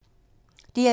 DR2